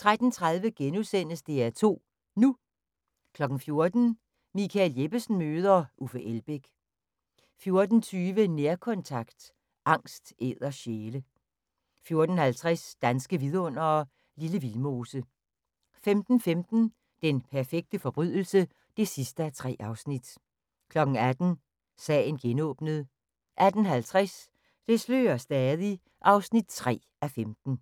13:30: DR2 NU * 14:00: Michael Jeppesen møder... Uffe Elbæk 14:20: Nærkontakt – angst æder sjæle 14:50: Danske Vidundere: Lille Vildmose 15:15: Den perfekte forbrydelse (3:3) 18:00: Sagen genåbnet 18:50: Det slører stadig (3:15)